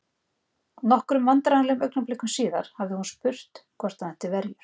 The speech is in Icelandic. Nokkrum vandræðalegum augnablikum síðar hafði hún spurt hvort hann ætti verjur?